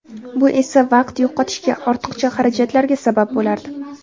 Bu esa vaqt yo‘qotishga, ortiqcha xarajatlarga sabab bo‘lardi.